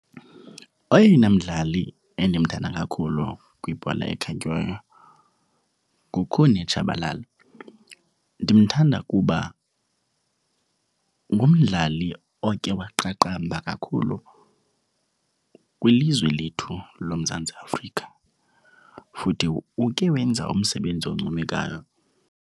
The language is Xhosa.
Oyena mdlali endimthanda kakhulu kwibhola ekhatywayo nguKhune Shabalala. Ndimthanda kuba ngumdlali oke waqaqamba kakhulu kwilizwe lethu loMzantsi Afrika futhi uke wenza umsebenzi oncomekayo.